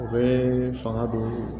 U bɛ fanga don